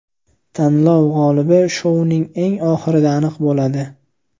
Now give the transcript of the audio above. Tanlov g‘olibi shouning eng oxirida aniq bo‘ladi.